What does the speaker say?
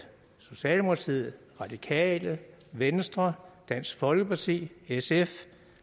socialdemokratiet radikale venstre dansk folkeparti sf